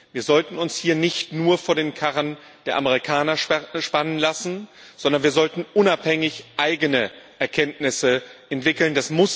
Wir sollten uns hier nicht nur vor den Karren der Amerikaner spannen lassen, sondern wir sollten unabhängig eigene Erkenntnisse entwickeln.